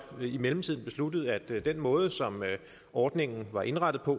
i mellemtiden besluttet at den måde som ordningen var indrettet på